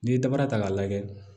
N'i ye dabara ta k'a lajɛ